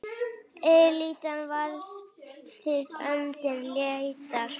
Elítan varpaði öndinni léttar.